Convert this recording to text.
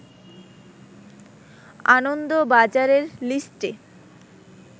আনন্দবাজারের লিস্টে